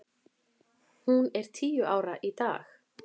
Hún er tíu ára í dag.